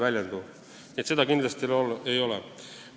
Nii et seda kindlasti ei ole.